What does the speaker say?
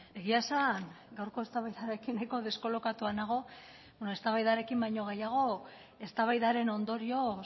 egia esan gaurko eztabaidarekin nahiko deskolokatua nago eztabaidarekin baino gehiago eztabaidaren ondorioz